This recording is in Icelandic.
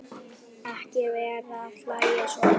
Ekki vera að hlæja svona.